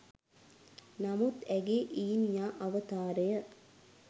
නමුත් ඇගේ ඊනියා අවතාරය